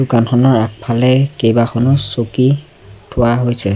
দোকানখনৰ আগফালে কেইবাখনো চকী থোৱা হৈছে।